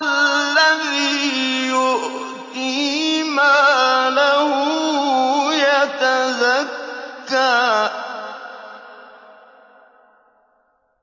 الَّذِي يُؤْتِي مَالَهُ يَتَزَكَّىٰ